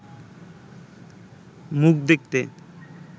মুখ দেখতে